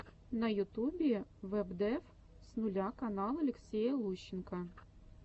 на ютюбе вэбдев с нуля канал алексея лущенко